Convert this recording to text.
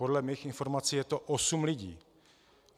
Podle mých informací je to osm lidí.